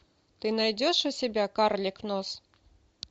ты найдешь у себя карлик нос